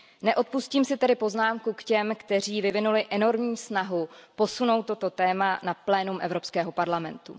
Neodpustím si tedy poznámku k těm, kteří vyvinuli enormní snahu posunout toto téma na plénum Evropského parlamentu.